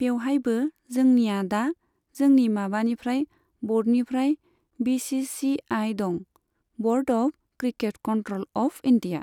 बेवहायबो जोंनिया दा जोंनि माबानिफ्राय ब'र्डनिफ्राय बि सि सि आइ दं, board of cricket control of India.